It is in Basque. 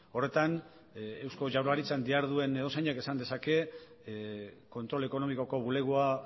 horretan eusko jaurlaritzan diharduen edozeinek esan dezake kontrol ekonomikoko bulegoa